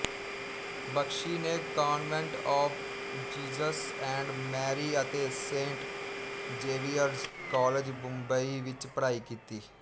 ਬਖਸ਼ੀ ਨੇ convent of Jesus and Mary ਅਤੇ saint Xavier's college Mumbai ਵਿਚ ਪੜ੍ਹਾਈ ਕੀਤੀ